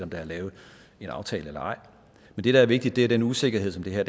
der er lavet en aftale eller ej men det der er vigtigt er den usikkerhed som det her